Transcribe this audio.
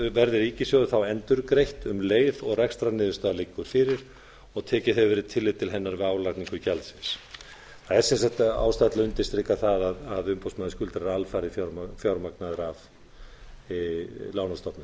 verði ríkissjóði þá endurgreitt um leið og rekstrarniðurstaða liggur fyrir og tekið hefur verið tillit til hennar við álagningu gjaldsins það er sem sagt ástæða til að undirstrika það að umboðsmaður skuldara er alfarið fjármagnaður af lánastofnun